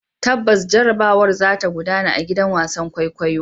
Tabbas, jarrabawar za ta gudana a gidan wasan kwaikwayo.